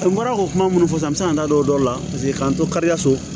A bɔra o kuma minnu fɔ sisan n bɛ se ka n da don o don la paseke k'an to kari ka so